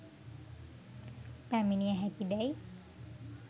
පැමිණිය හැකි දැයි